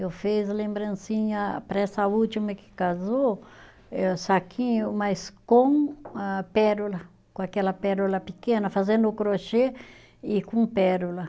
Eu fiz lembrancinha para essa última que casou, eh saquinho, mas com pérola, com aquela pérola pequena, fazendo o crochê e com pérola.